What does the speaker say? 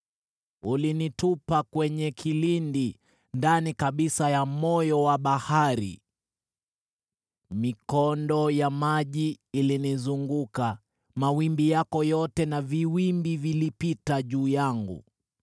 Ulinitupa kwenye kilindi, ndani kabisa ya moyo wa bahari, mikondo ya maji ilinizunguka, mawimbi yako yote na viwimbi vilipita juu yangu.